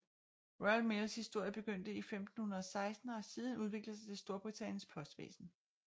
Royal Mails historie begyndte i 1516 og har siden udviklet sig til Storbritanniens postvæsen